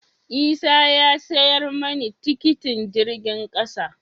Isah ya siyar mani tikitin jirgin kasa.